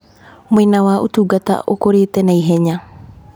Mwena wa ũtungata ũkũrĩte naihenya.